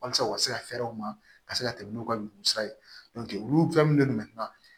Walasa u ka se ka fɛɛrɛw ma ka se ka tɛmɛ n'u ka ɲugusa ye olu fɛn minnu bɛ